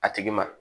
A tigi ma